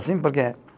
Assim, porque